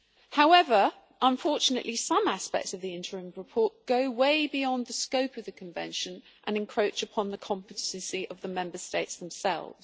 However, unfortunately some aspects of the interim report go way beyond the scope of the Convention and encroach upon the competences of the Member States themselves.